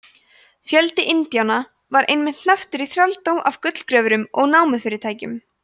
fjöldi indíána var einnig hnepptur í þrældóm af gullgröfurum og námufyrirtækjum